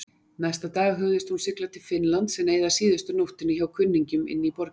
Næsta dag hugðist hún sigla til Finnlands en eyða síðustu nóttinni hjá kunningjum inní borginni.